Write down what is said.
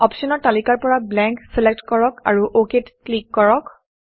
অপশ্যনৰ তালিকাৰ পৰা blank blank select কৰক আৰু অক ত ক্লিক কৰক